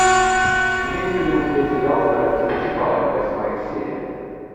имеется ли у тебя сериал страсти по чапаеву восьмая серия